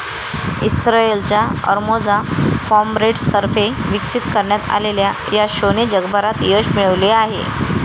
इस्रयलच्या अर्मोझा फॉम्रेट्सतर्फे विकसित करण्यात आलेल्या या शोने जगभरात यश मिळवलेले आहे.